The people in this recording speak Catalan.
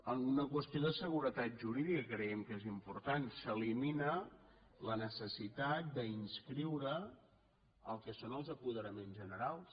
alguna qüestió de seguretat jurídica creiem que és important s’elimina la necessitat d’inscriure el que són els apoderaments generals